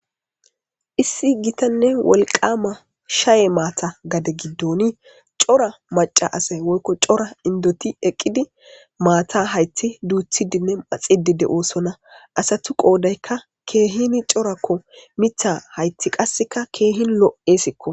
Issi gitanne wolqama shaye maata gade giddoni cora maca asay woykko cora indoti eqqidi maata hayti duuthidinne maxidide oosonna asatu qoodaykka keehini corakko mitha hayti qasseka keehin lo7esikko.